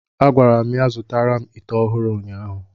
A gwara m ya zụtara m ite ọhụrụ ụnyaahụ!